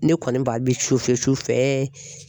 Ne kɔniba bi sufɛ